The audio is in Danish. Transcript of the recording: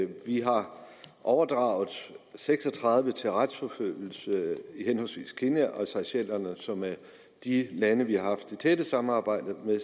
vi har overdraget seks og tredive til retsforfølgelse i henholdsvis kenya og seychellerne som er de lande som vi har haft det tætte samarbejde med